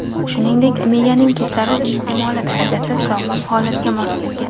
Shuningdek, miyaning kislorod iste’moli darajasi sog‘lom holatga mos kelgan.